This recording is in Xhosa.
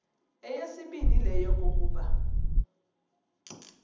eyesibini yile yokokuba